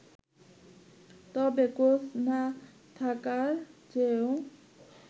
তবে কোচ না থাকার চেয়েও